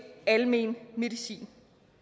almen medicin